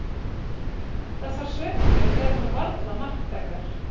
Þessar sveiflur eru þó varla marktækar.